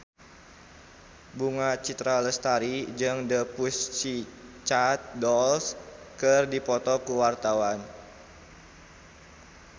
Bunga Citra Lestari jeung The Pussycat Dolls keur dipoto ku wartawan